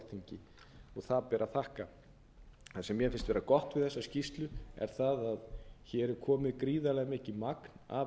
það ber að þakka það sem mér finnst vera gott við þessa skýrslu er það að hér er komið gríðarlega mikið magn af